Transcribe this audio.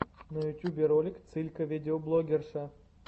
на ютубе ролик цылька видеоблогерша